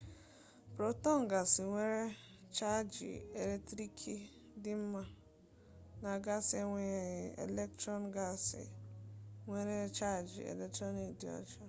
protọn gasị nwere chaajị eletriki dị ọma ebe nutrọn gasị enweghị chaajị elektrọn gasị nwere chaajị eletriki dị ọjọ